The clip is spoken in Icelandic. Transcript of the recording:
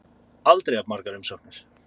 Aldrei jafn margar umsóknir